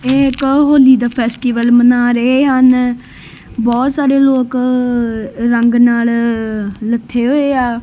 ਇਹ ਇੱਕ ਹੋਲੀ ਦਾ ਫੈਸਟੀਵਲ ਵੱਲ ਮਨਾ ਰਹੇ ਹਨ ਬਹੁਤ ਸਾਰੇ ਲੋਕ ਰੰਗ ਨਾਲ ਲੱਥੇ ਹੋਏ ਆ।